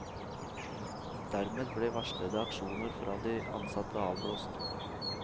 Dermed ble varslede aksjoner fra de ansatte avblåst.